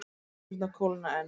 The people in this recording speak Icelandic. Hendurnar kólna enn.